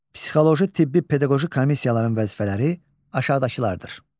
Psixoloji, tibbi, pedaqoji komissiyaların vəzifələri aşağıdakılardır: